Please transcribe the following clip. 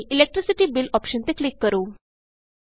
ਇਸ ਲਈ electricity bill option ਤੇ ਕਲਿਕ ਕਰੋ